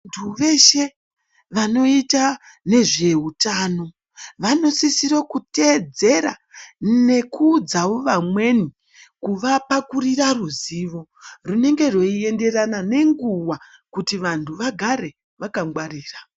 Vantu veshe vanoita nezvehutano vanosisira kutedzera nekuudzawi vamweni kuvapakurira ruzivo runenge rweiendererana nenguwa kuti vantu vagare vakangwarira.